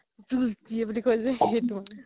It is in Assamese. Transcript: বুলি কই যে সেইটো মানে